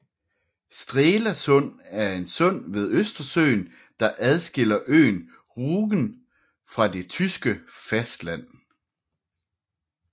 Strelasund er et sund ved Østersøen der adskiller øen Rügen fra det tyske fastland